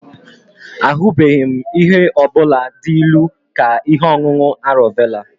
Ahubeghi m ihe ọ bụla dị ilu ka ihe ọṅụṅụ arọ vela